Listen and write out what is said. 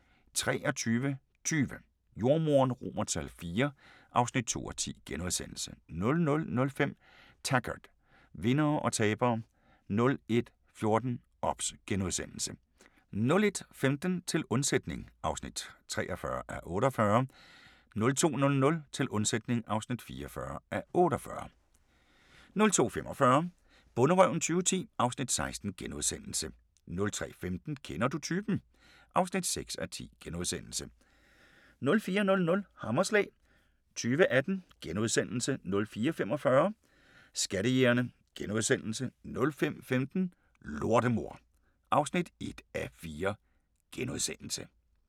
23:20: Jordemoderen IV (2:10)* 00:05: Taggart: Vindere og tabere 01:14: OBS * 01:15: Til undsætning (43:48) 02:00: Til undsætning (44:48) 02:45: Bonderøven 2010 (Afs. 16)* 03:15: Kender du typen? (6:10)* 04:00: Hammerslag 2018 * 04:45: Skattejægerne * 05:15: Lortemor (1:4)*